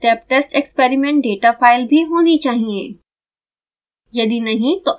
आपके पास step test experiment data file भी होनी चाहिए